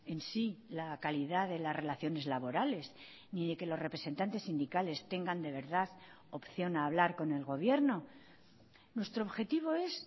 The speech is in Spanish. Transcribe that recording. en sí la calidad de las relaciones laborales ni de que los representantes sindicales tengan de verdad opción a hablar con el gobierno nuestro objetivo es